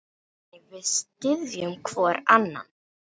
Þannig við styðjum hvorn annan.